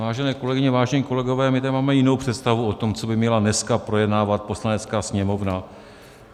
Vážené kolegyně, vážení kolegové, my tady máme jinou představu o tom, co by měla dneska projednávat Poslanecká sněmovna.